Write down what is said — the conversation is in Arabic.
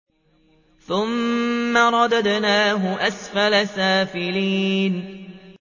ثُمَّ رَدَدْنَاهُ أَسْفَلَ سَافِلِينَ